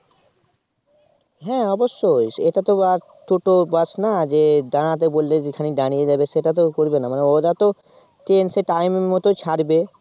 হ্যাঁ অবশ্যই এটা তো আর Toto Bus না দাঁড়াবে বললে যেখানে দাঁড়িয়ে যাবে সেটা তো করবে না মানে ওরা তো Train সেই Time এর মতই ছাড়বে